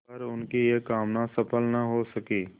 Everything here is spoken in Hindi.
पर उनकी यह कामना सफल न हो सकी